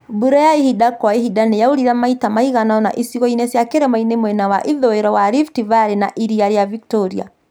Mbura ya ihinda kwa ihinda nĩ yaurire maita maigana ũna icigo-inĩ cia kĩrĩmainĩ mwena wa ithũĩro wa Rift Valley, ĩrĩa rĩa Victoria,